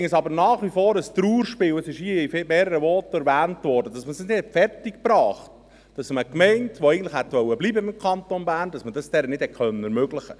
Ich finde es aber nach wie vor ein Trauerspiel – es wurde hier in mehreren Voten erwähnt –, dass man es nicht fertigbrachte, es einer Gemeinde, die eigentlich im Kanton Bern bleiben wollte, zu ermöglichen.